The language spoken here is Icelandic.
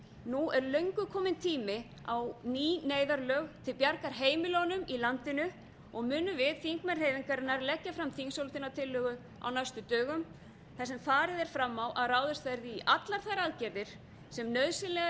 nú er löngu kominn tími á ný neyðarlög til bjargar heimilunum í landinu og munum við þingmenn hreyfingarinnar leggja fram þingsályktunartillögu á næstu dögum þar sem farið er fram á að ráðist verði í allar þær aðgerðir sem nauðsynlegar